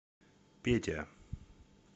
петя